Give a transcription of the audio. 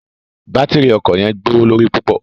Batírí ọkọ yẹn gbowolori pupọ